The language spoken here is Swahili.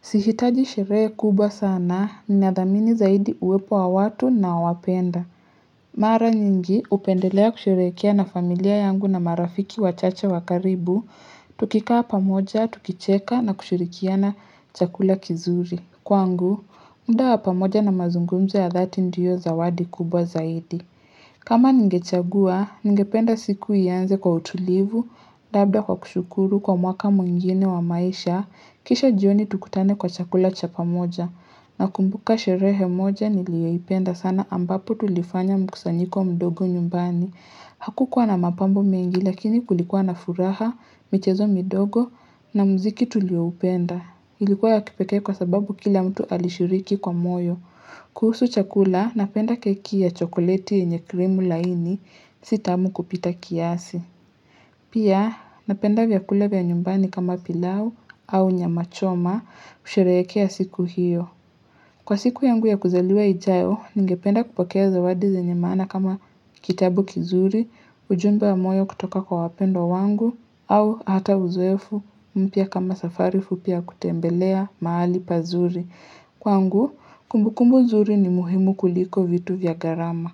Sihitaji sherehe kubwa sana ninadhamini zaidi uwepo wa watu nawapenda. Mara nyingi, hupendelea kusherekea na familia yangu na marafiki wachache wa karibu, tukikaa pamoja, tukicheka na kushirikiana chakula kizuri. Kwangu, muda wa pamoja na mazungumzo ya dhati ndiyo zawadi kubwa zaidi. Kama ningechagua, ningependa siku ianze kwa utulivu, labda kwa kushukuru kwa mwaka mwingine wa maisha, kisha jioni tukutane kwa chakula cha pamoja. Nakumbuka sherehe moja niliyoipenda sana ambapo tulifanya mkusanyiko mdogo nyumbani. Hakukuwa na mapambo mengi lakini kulikuwa na furaha, michezo midogo na mziki tulioupenda. Ilikuwa ya kipekee kwa sababu kila mtu alishiriki kwa moyo. Kuhusu chakula, napenda keki ya chokoleti yenye krimu laini, si tamu kupita kiasi. Pia, napenda vyakula vya nyumbani kama pilau au nyamachoma, kusherehekea siku hiyo. Kwa siku yangu ya kuzaliwa ijayo, ningependa kupokea zawadi zenye maana kama kitabu kizuri, ujumbe wa moyo kutoka kwa wapendwa wangu au hata uzoefu mpya kama safari fupi ya kutembelea mahali pazuri kwangu, kumbukumbu zuri ni muhimu kuliko vitu vya gharama.